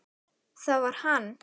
Það var hann.